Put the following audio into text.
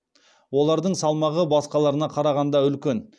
олардың салмағы басқаларына қарағанда үлкен